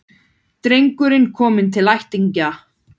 Drengurinn kominn til ættingja